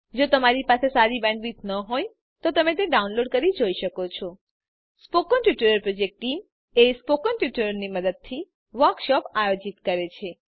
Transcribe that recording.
જો તમારી પાસે સારી બેન્ડવિડ્થ ન હોય તો તમે ડાઉનલોડ કરી તે જોઈ શકો છો spoken tutorial project team spoken ટ્યુટોરીયલોની મદદથી વર્કશોપ આયોજિત કરે છે